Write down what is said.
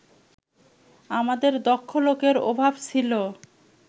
আমাদের দক্ষ লোকের অভাব ছিল